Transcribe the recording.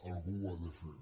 algú ho ha de fer